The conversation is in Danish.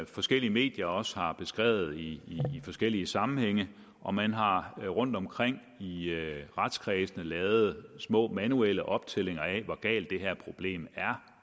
forskellige medier også har beskrevet i forskellige sammenhænge og man har rundtomkring i retskredsene lavet små manuelle optællinger af hvor galt det her problem